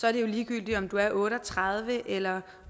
er det jo ligegyldigt om du er otte og tredive år eller